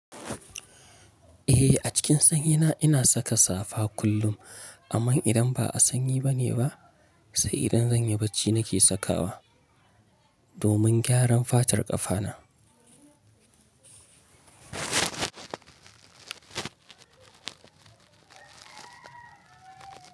Eh, a cikin sanyi ina saka safa kullum. Amma idan ba a sanyi bane ba, sai idan zanyi bacci nake sakawa domin gyaran fatar ƙafana.